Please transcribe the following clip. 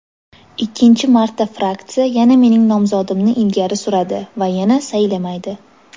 Ikkinchi marta fraksiya yana mening nomzodimni ilgari suradi va yana saylamaydi.